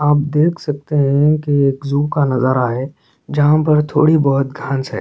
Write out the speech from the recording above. आप देख सकते है की एक जू का नज़ारा है जहाँ थोड़ी बहोत घास है।